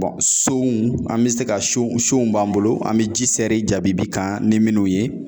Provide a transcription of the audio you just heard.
sonw an bɛ se ka son sonw b'an bolo , an bɛ ji sɛri jabbii kan ni minnu ye.